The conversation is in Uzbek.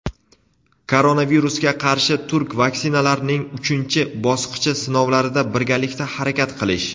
koronavirusga qarshi turk vaksinalarning uchinchi bosqichi sinovlarida birgalikda harakat qilish;.